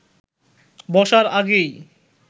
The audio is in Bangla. বসার আগেই